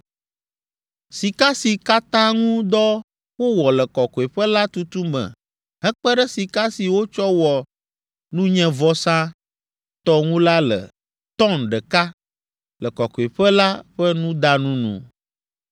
Sika si katã ŋu dɔ wowɔ le Kɔkɔeƒe la tutu me hekpe ɖe sika si wotsɔ wɔ nunyevɔsa tɔ ŋu la le “tɔn” ɖeka, le Kɔkɔeƒe la ƒe nudanu nu.